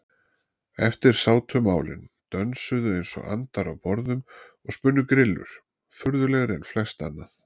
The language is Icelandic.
Eftir sátu málin, dönsuðu einsog andar á borðum og spunnu grillur, furðulegri en flest annað.